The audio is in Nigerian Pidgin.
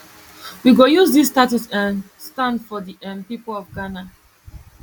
we go use dis status to um stand for di um pipo of ghana